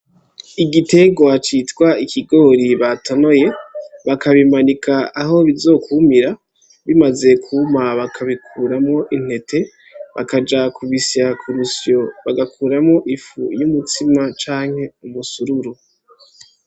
Igitegwa citwa ikigori batonoye bakabimanika aho bizokwumira bimaze kuma bakabikuramwo intete bakaja kubisya ku rusyo bagakuramwo ifu y'umutsima canke umusururu.